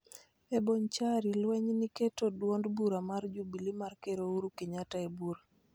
E Bonchari, lweny ni keto duond bura mar Jubilee mar Ker Ouru Kenyatta e bur,